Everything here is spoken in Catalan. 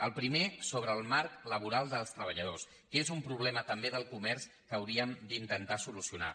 el primer sobre el marc laboral dels treballadors que és un problema també del comerç que hauríem d’intentar solucionar